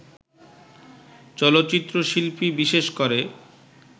চলচ্চিত্রশিল্পী, বিশেষ করে